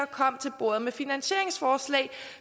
kom til bordet med finansieringsforslag